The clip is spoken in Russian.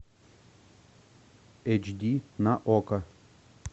эйч ди на окко